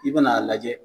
I bɛn'a lajɛ